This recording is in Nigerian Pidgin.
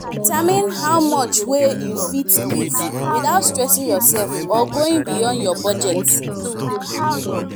determine how much wey you fit give without stressing yourself or going beyound your budget